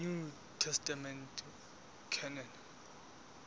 new testament canon